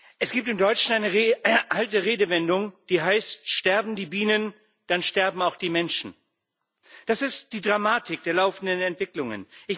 Frau Präsidentin! Es gibt in Deutschland eine alte Redewendung, die heißt Sterben die Bienen, dann sterben auch die Menschen. Das ist die Dramatik der laufenden Entwicklungen.